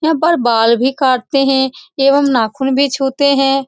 यहाँ पर बाल भी काटते है एवं नाखून भी छूते है।